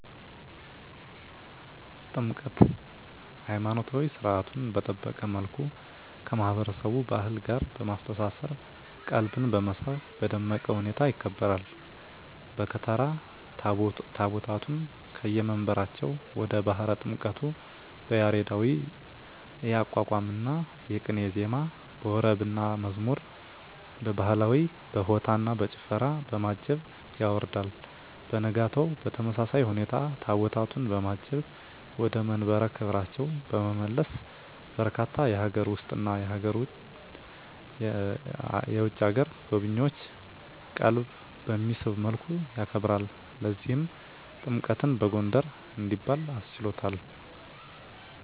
ጥምቀት!! ሀይማኖታዊ ሰርዓቱን በጠበቀ መልኩ ከማህበረሰቡ ባህል ጋር በማስተሳሰር ቀልብን በመሳብ በደመቀ ሁኔታ ይከበራል። በከተራ ታቦታቱን ከየመንበራቸው ወደ ባህረ ጥምቀቱ በያሬዳዊ የአቋቋምና ቅኔ ዜማ፣ በወረብና መዝሙር፣ በባህላዊ በሆታና በጭፈራ፣ በማጀብ ያወርዳል። በነጋታው በተመሳሳይ ሁኔታ ታቦታቱን በማጀብ ወደ መንበረ ክብራቸው በመመለስ በርካታ የሀገር ውስጥና የውጭ አገር ጎብኚዎችን ቀልብ በሚስብ መልኩ ያከብራል። ለዚህም ጥምቀትን በጎንደር እንዲባል አስችሎታል!!